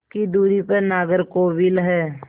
की दूरी पर नागरकोविल है